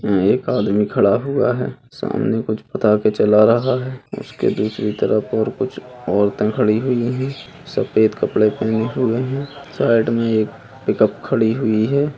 उम्म एक आदमी खड़ा हुआ है सामने कुछ पटाके जला रहा है उसकी दूसरी तरफ और कुछ औरतें खड़ी हुई है सफेद कपड़े पहने हुए हैं साइड में एक पिकअप खड़ी हुई है।